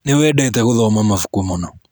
Nĩwendete gũthoma mabuku mũno.